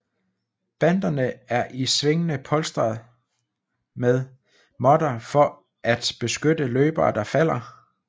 Banderne er i svingene polstret med måtter for at beskytte løbere der falder